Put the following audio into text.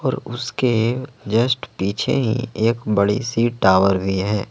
और उसके जस्ट पीछे ही एक बड़ी सी टावर भी है।